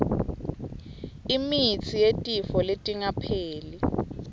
imitsi yetifo letingapheli